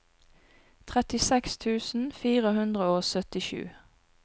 trettiseks tusen fire hundre og syttisju